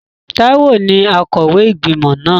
Táíwò ní akọ̀wé ìgbìmọ̀ náà